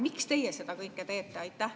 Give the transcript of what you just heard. Miks teie seda kõike teete?